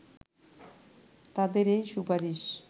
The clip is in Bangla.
তাদের এই সুপারিশ